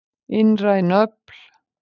Innræn öfl.